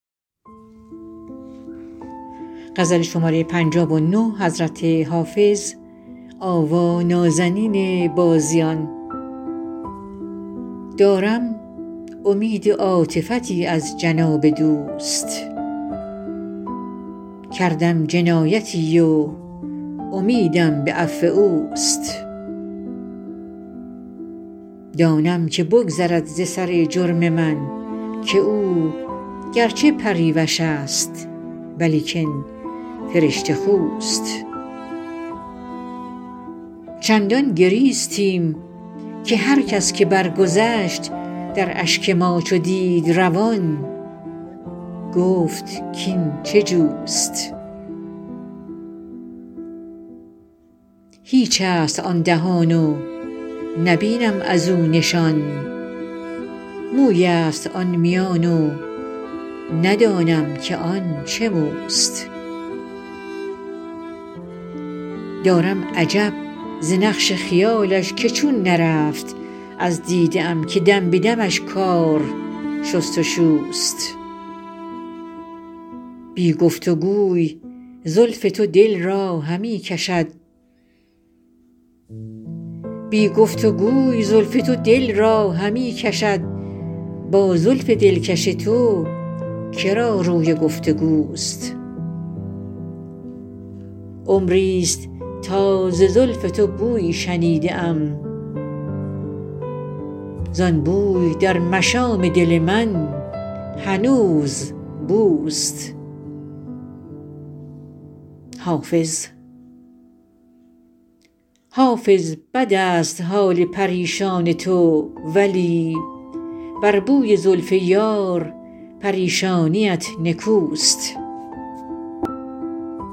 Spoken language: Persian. دارم امید عاطفتی از جناب دوست کردم جنایتی و امیدم به عفو اوست دانم که بگذرد ز سر جرم من که او گر چه پریوش است ولیکن فرشته خوست چندان گریستیم که هر کس که برگذشت در اشک ما چو دید روان گفت کاین چه جوست هیچ است آن دهان و نبینم از او نشان موی است آن میان و ندانم که آن چه موست دارم عجب ز نقش خیالش که چون نرفت از دیده ام که دم به دمش کار شست و شوست بی گفت و گوی زلف تو دل را همی کشد با زلف دلکش تو که را روی گفت و گوست عمری ست تا ز زلف تو بویی شنیده ام زان بوی در مشام دل من هنوز بوست حافظ بد است حال پریشان تو ولی بر بوی زلف یار پریشانیت نکوست